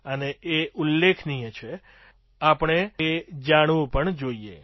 અને એ ઉલ્લેખનીય છે આપણે જાણવું પણ જોઈએ